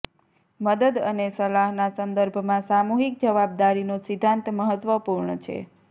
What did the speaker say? મદદ અને સલાહના સંદર્ભમાં સામુહિક જવાબદારીનો સિદ્ધાંત મહત્વપૂર્ણ છે